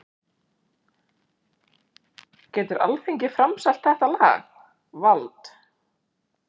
Getur Alþingi framselt þetta lag, vald?